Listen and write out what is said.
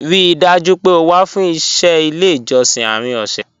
Ríì dájú pé ó wà fún iṣẹ̀ ilẹ̀ ijọ̀ṣìn àárín ọ̀ṣẹ́